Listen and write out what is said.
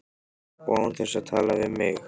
Og án þess að tala við mig!